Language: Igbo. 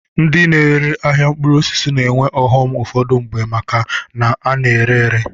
Ndi na-ere ahịa mkpụrụ osisi na-enwe ọghọm ụfọdụ mgbe maka na ọ na-ere ere.